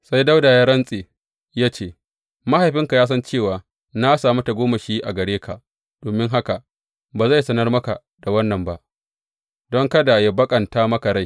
Sai Dawuda ya rantse ya ce, Mahaifinka ya san cewa, na sami tagomashi a gare ka, domin haka ba zai sanar maka da wannan ba, don kada yă baƙanta maka rai.